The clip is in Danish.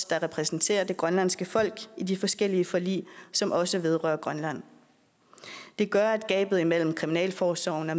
der repræsenterer det grønlandske folk i de forskellige forlig som også vedrører grønland det gør at gabet imellem kriminalforsorgen og